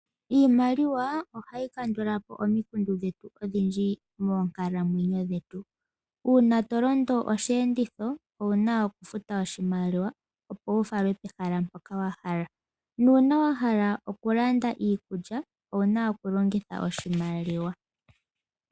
Iimaliwa ohayi kandulapo omikundu dhetu odhindji moonkalamwenyo dhetu. Uuna tolondo oshiyenditho owuna okufuta oshimaliwa opo wufalwe pehala mpoka wahala . Nuuna wahala okulanda iikulya owuna okulongitha oshimaliwa.